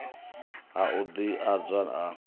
ha u ḓ adzwa ha